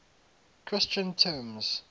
christian terms